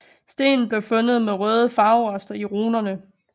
Stenen blev fundet med røde farverester i runerne